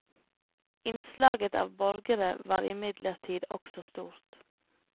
Innslaget av borgere var imidlertid også stort.